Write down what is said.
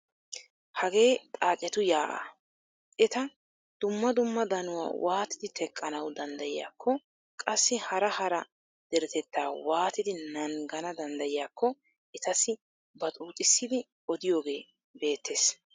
Hagee xaacetu yaa'aa, eta dumma dumma danuwaa waatidi teqqanawu danddayiyakko qassi hara hara deretettaa waatidi naangana danddayiyaako etasi baxuuxisidi odiyoogee beettees.